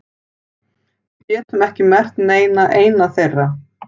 Við getum ekki merkt neina eina þeirra.